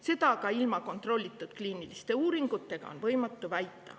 Seda on aga ilma kontrollitud kliiniliste uuringute tegemiseta võimatu väita.